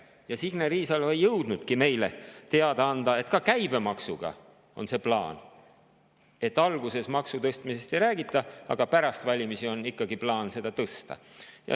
Ja Signe Riisalo ei jõudnudki meile teada anda, et ka käibemaksuga on see plaan, et alguses maksu tõstmisest ei räägita, aga pärast valimisi on ikkagi plaan seda tõsta.